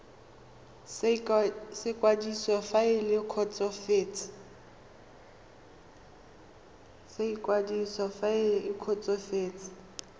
sa ikwadiso fa le kgotsofetse